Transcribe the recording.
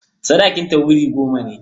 Sadakinta wuri goma ne.